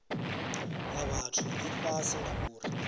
ya vhathu i fhasi ngauri